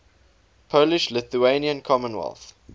polish lithuanian commonwealth